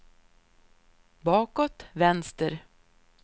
bakåt vänster